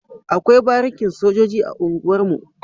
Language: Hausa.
Akwai barikin sojoji a unguwar mu